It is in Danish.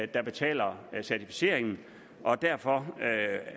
der betaler certificeringen og derfor